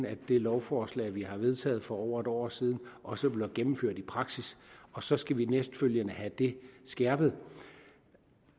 at det lovforslag vi har vedtaget for over et år siden også bliver gennemført i praksis og så skal vi dernæst have det skærpet